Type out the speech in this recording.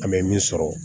An bɛ min sɔrɔ